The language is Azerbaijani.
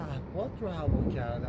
Otağı da dizayn etdilər.